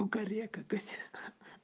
кукарекать